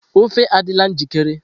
ofe adịla njikere?